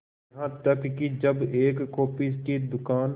यहां तक कि जब एक कॉफी के दुकान